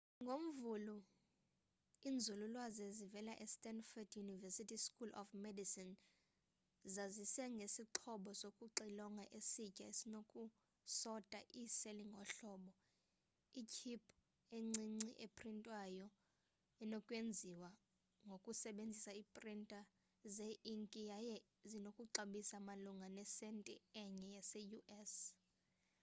ngomvulo iinzululwazi ezivela estandford university school of medicine zazise ngesixhobo sokuxilonga esitsha esinoku sota iiseli ngohlobo itship encinci eprintwayo enokwenziwa ngokusebenzisa iiprinta ze inki yaye zinokuxabisa malunga nesenti enye yase u.s